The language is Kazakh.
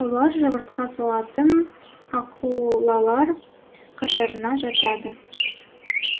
олар жұмыртқа салатын акулалар қатарына жатады